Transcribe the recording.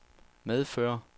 medføre